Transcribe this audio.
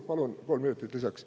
Palun kolm minutit lisaks.